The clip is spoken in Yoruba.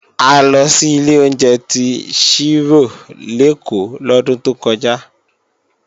A lọ sí ilé oúnjẹ tí Ṣírò lèkó lọ́dún tó kọjá